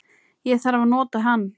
Ég þarf að nota hann